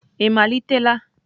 ị malitela?